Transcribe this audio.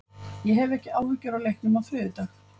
Ég hef ekki áhyggjur af leiknum á þriðjudag.